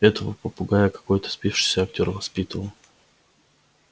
этого попугая какой-то спившийся актёр воспитывал